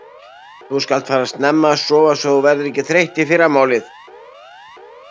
Þú skalt fara snemma að sofa svo þú verðir ekki þreytt í fyrramálið.